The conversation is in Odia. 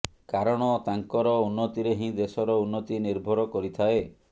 କାରଣ ତାଙ୍କର ଉନ୍ନତିରେ ହିଁ ଦେଶର ଉନ୍ନତି ନିର୍ଭର କରିଥାଏ